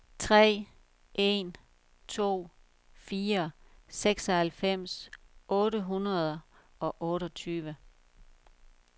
tre en to fire seksoghalvfems otte hundrede og otteogtyve